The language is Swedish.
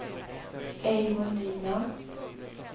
Eivor Nyman